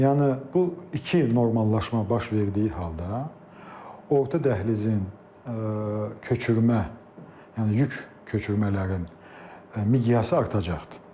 Yəni bu iki normallaşma baş verdiyi halda orta dəhlizin köçürmə, yəni yük köçürmələrin miqyası artacaqdır.